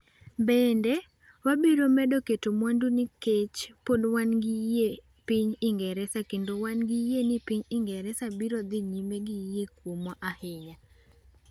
Bende, wabiro medo keto mwandu nikech pod wan gi yie piny Ingresa kendo wan gi yie ni piny Ingresa biro dhi nyime gi yie kuomwa ahinya .